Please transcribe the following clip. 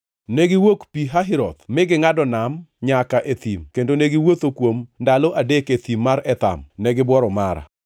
Negiwuok Pi Hahiroth mi gingʼado nam nyaka e thim, kendo kane gisewuotho kuom ndalo adek e Thim mar Etham, negibuoro Mara.